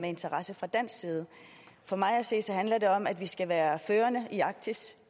interesse fra dansk side for mig at se handler det om at vi skal være førende i arktis